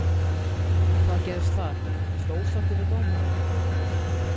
Hvað gerðist þar, varstu ósáttur við dómarann?